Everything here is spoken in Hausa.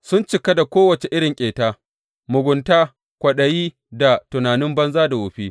Sun cika da kowace irin ƙeta, mugunta, kwaɗayi, da tunanin banza da wofi.